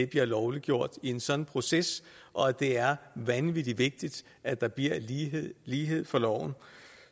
bliver lovliggjort i en sådan proces og at det er vanvittig vigtigt at der bliver lighed lighed for loven